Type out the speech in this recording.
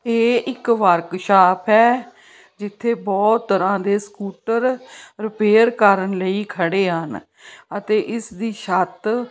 ਇਹ ਇੱਕ ਵਰਕਸ਼ਾਪ ਹੈ ਜਿੱਥੇ ਬਹੁਤ ਤਰ੍ਹਾਂ ਦੇ ਸਕੂਟਰ ਰਿਪੇਅਰ ਕਰਨ ਲਈ ਖੜੇ ਹਨ ਅਤੇ ਇਸ ਦੀ ਛੱਤ --